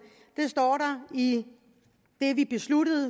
det står der i det vi besluttede